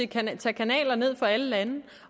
kan tage kanaler ned fra alle lande